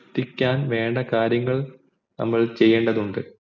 എത്തിക്കാൻ വേണ്ട കാര്യങ്ങൾ നമ്മൾ ചെയ്യേണ്ടതുണ്ട്